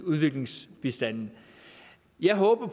udviklingsbistanden jeg håber